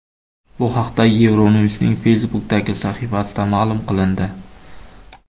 Bu haqda Euronews’ning Facebook’dagi sahifasida ma’lum qilindi .